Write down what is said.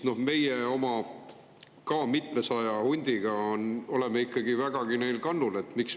Meie oma ka mitmesaja hundiga oleme neil ikkagi vägagi kannul.